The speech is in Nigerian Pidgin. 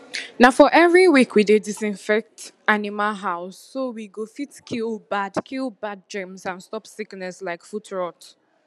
na for every week we dey disinfect animal houseso we go fit kill bad kill bad germs and stop sickness like foot rot